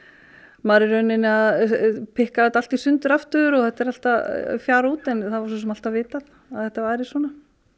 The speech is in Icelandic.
maður er í rauninni að pikka þetta allt í sundur aftur og þetta er allt að fjara út en það var svo sem alltaf vitað að þetta væri svona